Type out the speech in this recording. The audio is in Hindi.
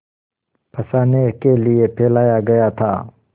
फँसाने के लिए फैलाया गया था